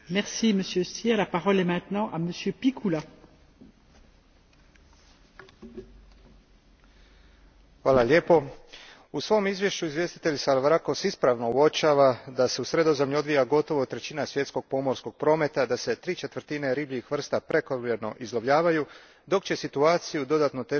U svom izvješću izvjestitelj Salavrakos ispravno uočava da se u Sredozemlju odvija gotovo trećina svjetskog pomorskog prometa, da se tri četvrtine ribljih vrsta prekomjerno izlovljavaju, dok će situaciju dodatno otežati predviđeni snažan porast urbanog